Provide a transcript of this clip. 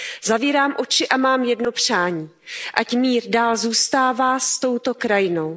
Zavírám oči a mám jedno přání Ať mír dál zůstává s touto krajinou.